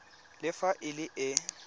le fa e le e